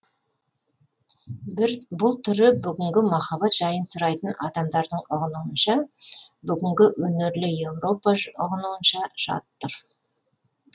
бұл түрі бүгінгі махаббат жайын сұрайтын адамдардың ұғынуынша бүгінгі өнерлі европа ұғынуынша жат тұр